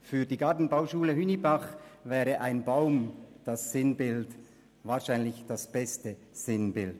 Für die Gartenbauschule Hünibach wäre ein Baum wahrscheinlich das beste Sinnbild.